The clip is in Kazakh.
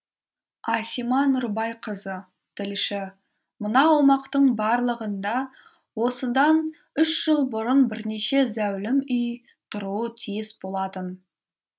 асима нұрбайқызы тілші мына аумақтың барлығында осыдан үш жыл бұрын бірнеше зәулім үй тұруы тиіс болатын